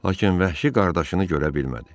Lakin vəhşi qardaşını görə bilmədi.